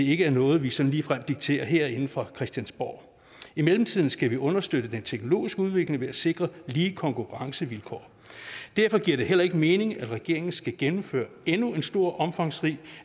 ikke er noget vi sådan ligefrem dikterer herinde fra christiansborg i mellemtiden skal vi understøtte den teknologiske udvikling ved at sikre lige konkurrencevilkår derfor giver det heller ikke mening at regeringen skulle gennemføre endnu en stor omfangsrig